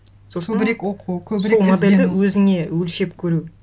сосын көбірек оқу сол модельді өзіне өлшеп көру